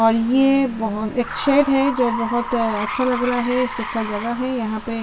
और यह बहुत एक शेड है जो बहुत अच्छा लग रहा है सुखा जगह है यहाँ पे --